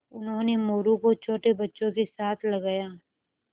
उन्होंने मोरू को छोटे बच्चों के साथ लगाया